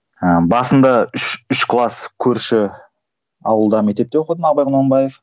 ыыы басында үш үш класс көрші ауылда мектепте оқыдым абай құнанбаев